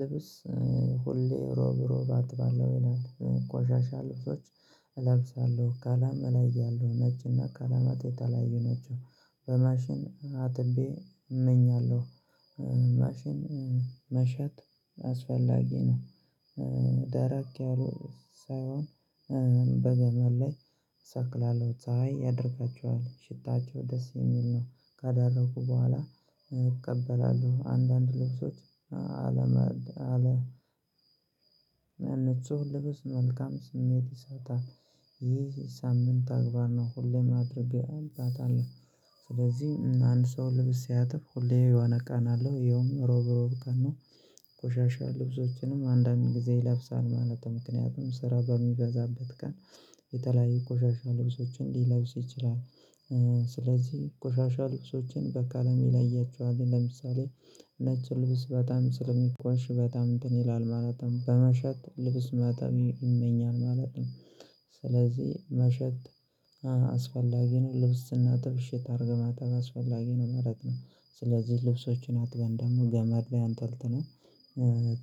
ልብስ ሁሌ ሮብ ሮብ አጥባለሁ ይላል ቆሻሻ ልብሶች እለብሳለሁ ቀለም እለያለው ነጭ እና ቅለማት የተለያዩ ናቸው በማሽን አጥቤ እመኛለሁ። ማሸት አስፈላጊ ነው። ደራቅ ያሉ ሳይሆን በገመድ ላይ ሰቅላለሁ ፀሀይ ያደርቃቸዋል ሽታቸው ደስ የሚል ነው። ከደረቁ በኋላ እቀበላለሁ አንዳንድ ልብሶች አለመ አለመነ እነሱን ልብስ መልካም ስሜት ይሰጣል። ይህ ሳምንታዊ ተግባር ነው ሁሌም አድርጌ አልባት አለ። ስለዚህ አንድ ሰው ልብስ ሲያጥብ ሁሌ የሆነ ቀን አለው ይኸውም ሮብ ሮብ ቀን ነው። ቆሻሻ ልብሶችንም አንዳንድ ጊዜ ይለብሳል ማለት ምክንያቱም ስራ በሚበዛበት ቀን የተለያዩ ቆሻሻ ልብሶችን ሊለብስ ይችላል። ስለዚህ ቆሻሻ ልብሶችን በቀለም ይለያቸዋል ለምሳሌ ነጭ ልብስ በጣም ስለሚቆሽ በጣም እንትን ይላል ማለትም በመሸት ልብስ ማታ ይመኛል ማለት ነው። ስለዚህ መሸት አስፈላጊ ነው ልብስ ስናጥብ እሽት አድርገህ ማጠብ አስፈላጊ ነው ማለት ነው። ስለዚህ ልብሶችን አጥበን ደግሞ ገመድ ላይ አንጠልጥለን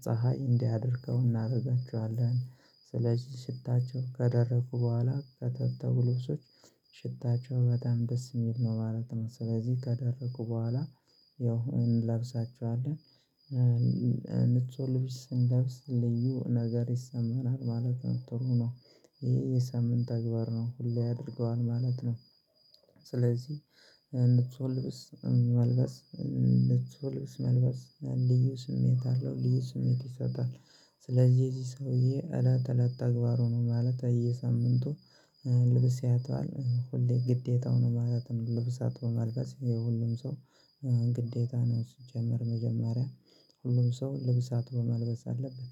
ፀሀይ እንዲያደርቀው እናደርጋችኋለን። ስለዚህ ሽታቸው ከደረቁ በኋላ ከታጠቡ ልብሶች ሽታቸው በጣም ደስ የሚል ነው ማለት ነው። ስለዚህ ከደረቁ በኋላ ያው እንለብሳቸዋለን። ንጹህ ልብስ ስንለብስ ልዩ ነገር ይሰማናል ማለት ነው ጥሩ ነው። ይሄ የሳምንት ተግባር ነው ሁሌ ያደርገዋል ማለት ነው። ስለዚህ ንጹህ ልብስ መልበስ ንጹህ ልብስ መልበስ ልዩ ስሜት አለው ልዩ ስሜት ይሰጣል። ስለዚህ የዚህ ሰውዬ እላት እለት ተግባሩ ነው ማለት በሰምንቱ ልብስ ያጥባል ሁሌ ግዴታው ነው ማለት ነው። ልብስ አጥቦ መልበስ የሁሉም ሰው ግዴታ ነው። ሲጀምር መጀመሪያ ሁሉም ሰው ልብስ አጥቦ መልበስ አለበት